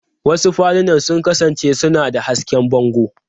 Wasu falunan sun kasance suna da hasken bango.